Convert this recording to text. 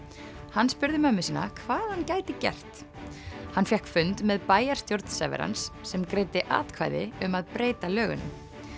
hann spurði móður sína hvað hann gæti gert hann fékk fund með bæjarstjórn Severance sem greiddi atkvæði um að breyta lögunum